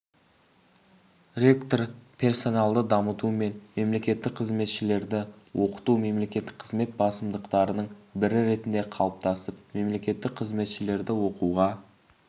ректор персоналды дамыту мен мемлекеттік қызметшілерді оқыту мемлекеттік қызмет басымдықтарының бірі ретінде қалыптасып мемлекеттік қызметшілерді оқуға